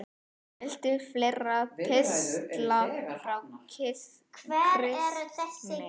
Viltu fleiri pistla frá Kristni?